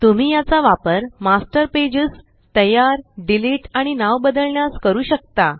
तुम्ही याचा वापर मास्टर पेजेस तयार डिलीट आणि नाव बदलण्यास करू शकता